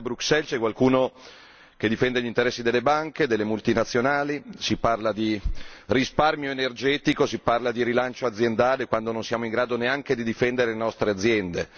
Probabilmente a Bruxelles c'è qualcuno che difende gli interessi delle banche, delle multinazionali, si parla di risparmio energetico, si parla di rilancio aziendale, quando non siamo in grado neanche di difendere le nostre aziende.